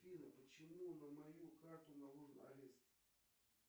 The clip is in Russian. афина почему на мою карту наложен арест